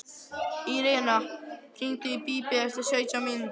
Irena, hringdu í Bíbí eftir sautján mínútur.